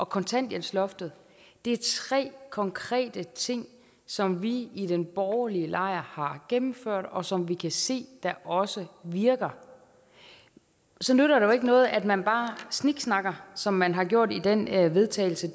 kontanthjælpsloftet det er tre konkrete ting som vi i den borgerlige lejr har gennemført og som vi kan se også virker så nytter det jo ikke noget at man bare sniksnakker som man har gjort i den vedtagelse